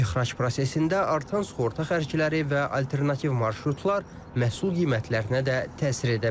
İxrac prosesində artan sığorta xərcləri və alternativ marşrutlar məhsul qiymətlərinə də təsir edə bilər.